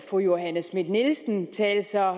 fru johanne schmidt nielsen tale så